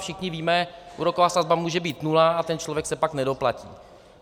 Všichni víme, úroková sazba může být nula, a ten člověk se pak nedoplatí.